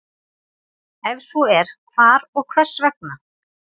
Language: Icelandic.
Ef svo er hvar og hvers vegna?